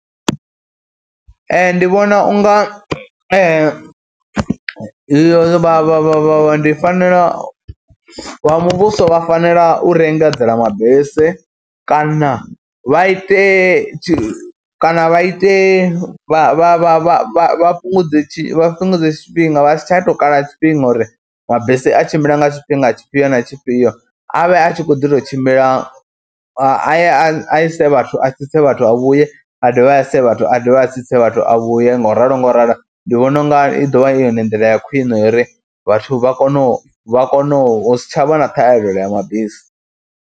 Ee, ndi vhona u nga vha vha vha vha vha ndi fanela u, vha muvhuso vha fanela u ri engadzela mabisi kana vha ite tshi kana vha ite vha vha vha fhungudze tshi, vha fhungudze tshifhinga vha si tsha tou kala tshifhinga uri mabisi a tshimbila nga tshifhinga tshifhio na tshifhio, avhe a tshi khou ḓi tou tshimbila a ye a ise vhathu. a tsitse vhathu a vhuye, a dovhe a ise vhathu, a dovhe a tsitse vhathu a vhuye ngauralo ngauralo. Ndi vhona u nga i ḓovha i yone ndila ya khwine uri vhathu vha kone u vha kone hu si tshavha na ṱhahelelo ya mabisi.